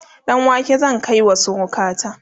ɗanwake zan kaiwa surukata